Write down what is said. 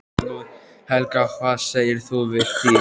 Helga: Hvað segir þú við því?